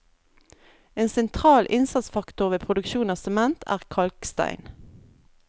En sentral innsatsfaktor ved produksjon av sement er kalkstein.